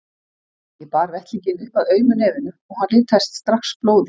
Ég bar vettlinginn upp að aumu nefinu og hann litaðist strax blóði.